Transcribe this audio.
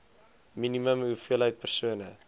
minimum hoeveelheid persone